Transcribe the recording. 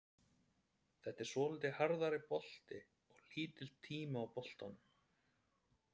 Þetta er svolítið hraðari bolti og lítill tími á boltanum.